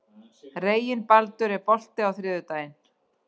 Reginbaldur, er bolti á þriðjudaginn?